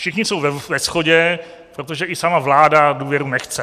Všichni jsou ve shodě, protože i sama vláda důvěru nechce.